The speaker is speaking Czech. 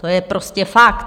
To je prostě fakt.